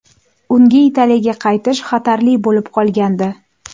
Unga Italiyaga qaytish xatarli bo‘lib qolgandi.